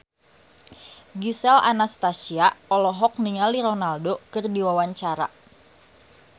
Gisel Anastasia olohok ningali Ronaldo keur diwawancara